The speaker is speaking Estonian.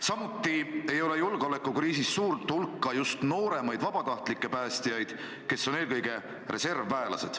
Samuti ei ole julgeolekukriisis suurt hulka just nooremaid vabatahtlikke päästjaid, kes on eelkõige reservväelased.